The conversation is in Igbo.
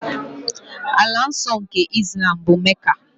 Ala nsọ nke Islam bụ Mecca.